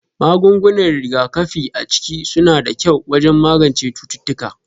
Magungunan rigakafi a ciki suna da kyau wajen magance cututtuka